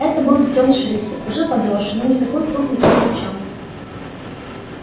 это был детёныш рыси уже подросший но не такой крупный как волчонок